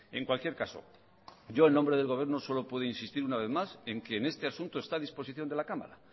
en cualquier caso yo en nombre del gobierno solo puedo insistir una vez más en que en este asunto está a disposición de la cámara